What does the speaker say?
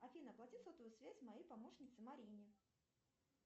афина оплати сотовую связь моей помощнице марине